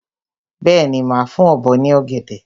Bẹ́ẹ̀ni, màá fún ọ̀bọ ní ọ̀gẹ̀dẹ̀.